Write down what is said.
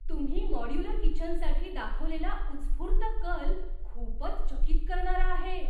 तुम्ही मॉड्यूलर किचनसाठी दाखवलेला उत्स्फूर्त कल खूपच चकित करणारा आहे.